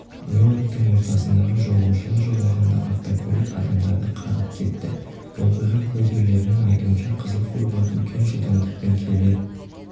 нью-йорктің ортасындағы жолаушылар жолағында автокөлік адамдарды қағып кетті оқиға куәгерлерінің айтуынша қызыл фургон үлкен жылдамдықпен келе